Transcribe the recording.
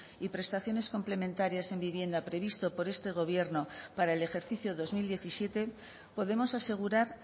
y prestaciones complementarias en vivienda previsto por este gobierno para el ejercicio dos mil diecisiete podemos asegurar